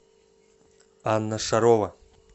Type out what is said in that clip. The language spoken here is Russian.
анна шарова